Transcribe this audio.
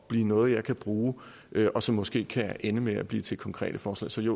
at blive noget jeg kan bruge og som måske kan ende med at blive til konkrete forslag så det